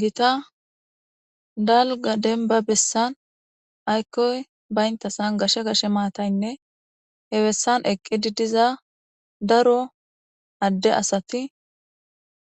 gita dalga denba bessan aykkoy baynta san gashe gashe maataynne he bessan eqqi diddiza daro adde asati